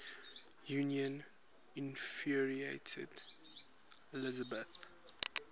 union infuriated elizabeth